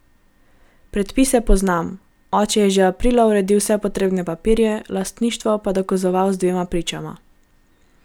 Predpise poznam, oče je že aprila uredil vse potrebne papirje, lastništvo pa dokazoval z dvema pričama.